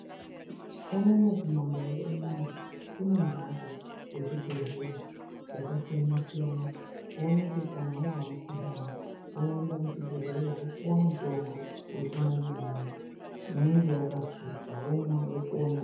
Unono kumandau unono kutori nembatso dzezvibhedhleya dzakasiyana siyana kuona kuti kana wazwa mukhuhlane woenda kuchibhehleya wopuwa mutombo yechimanje manje womwa wopona.